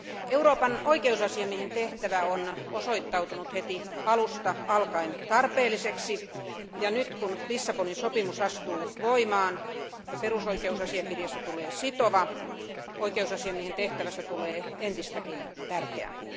Euroopan oikeusasiamiehen tehtävä on osoittautunut heti alusta alkaen tarpeelliseksi, ja nyt kun Lissabonin sopimus astuu voimaan ja perusoikeusasiakirjasta tulee sitova, oikeusasiamiehen tehtävästä tulee entistäkin tärkeämpi.